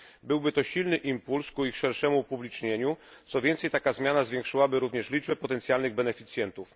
Byłby to silny impuls ku ich szerszemu upublicznieniu, co więcej taka zmiana zwiększyłaby również liczbę potencjalnych beneficjentów.